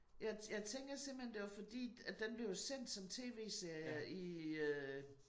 Jeg jeg tænker simpelthen det var fordi at den blev jo sendt som TV-serie i øh